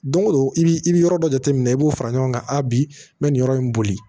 Don go don i bi i bi yɔrɔ dɔ jateminɛ i b'o fara ɲɔgɔn kan a bi n bɛ nin yɔrɔ in boli